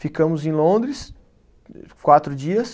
Ficamos em Londres, quatro dias.